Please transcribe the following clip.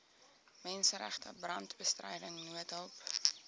menseregte brandbestryding noodhulp